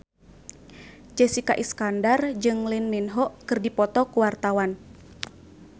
Jessica Iskandar jeung Lee Min Ho keur dipoto ku wartawan